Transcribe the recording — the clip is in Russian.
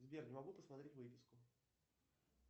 сбер не могу посмотреть выписку